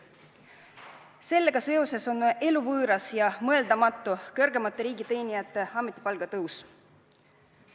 Sellega seoses on eluvõõras ja mõeldamatu kõrgemate riigiteenijate ametipalga tõus.